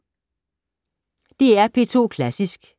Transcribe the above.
DR P2 Klassisk